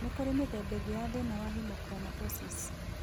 Nĩkũrĩ mĩthemba ĩngĩ ya thĩna wa hemochromatosis.